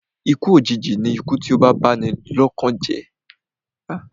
Ikú òjìji ni ikú tí ó ń ba ni lọ́kàn jẹ́ jù